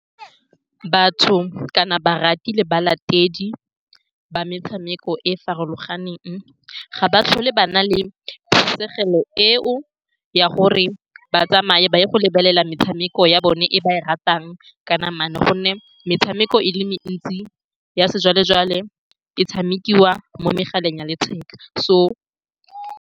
Batho, kana barati le balatedi ba metshameko e e farologaneng, ga ba tlhole ba na le phišego eo ya gore ba tsamae ba ye go lebelela metshameko ya bone e ba e ratang ka namana, ka gonne metshameko e le mentsi ya sejwale-jwale e tshamekiwa mo megaleng ya letheka so.